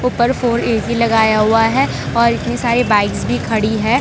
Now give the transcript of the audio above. पर four AC लगाया हुआ है और इतनी सारी बाइक्स भी खड़ी है।